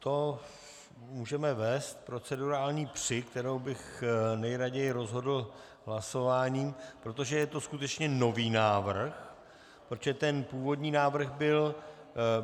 To můžeme vést procedurální při, kterou bych nejraději rozhodl hlasováním, protože to je skutečně nový návrh, protože ten původní návrh byl...